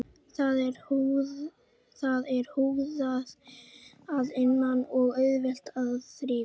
Það er húðað að innan og auðvelt að þrífa.